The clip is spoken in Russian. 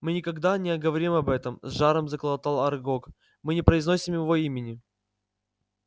мы никогда не говорим об этом с жаром заклокотал арагог мы не произносим его имени